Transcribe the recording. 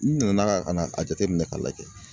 N nana ka na a jateminɛ ka lajɛ.